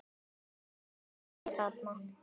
Það rignir mikið þar.